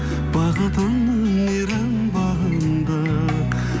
бақытыңның мейрам бағында